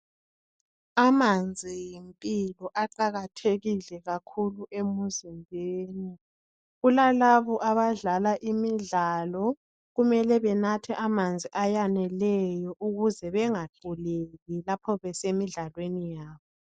Amanzi yimpilo aqakathekile kakhulu emzimbeni. Kulalabo abadlala imidlalo kumele benathe amanzi ayaneleyo ukuze bengaquleki lapho besemidlalweni yabo.